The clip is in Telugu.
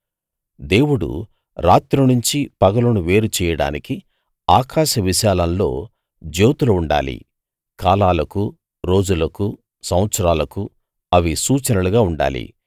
దేవుడు రాత్రి నుంచి పగలును వేరు చెయ్యడానికి ఆకాశ విశాలంలో జ్యోతులు ఉండాలి కాలాలకు రోజులకు సంవత్సరాలకు అవి సూచనలుగా ఉండాలి